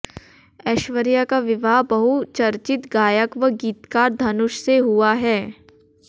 ऐश्वर्या का विवाह बहुचर्चित गायक व गीतकार धनुष से हुआ है